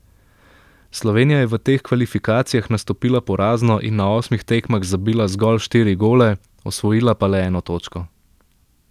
Slovenija je v teh kvalifikacijah nastopila porazno in na osmih tekmah zabila zgolj štiri gole, osvojila pa le eno točko.